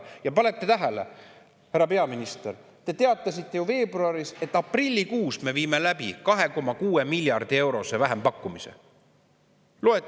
Ja panete tähele, härra peaminister, te teatasite ju veebruaris, et aprillikuus me viime läbi 2,6 miljardi eurose vähempakkumise.